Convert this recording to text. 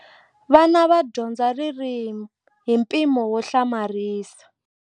Vana va dyondza ririmi hi mpimo wo hlamarisa.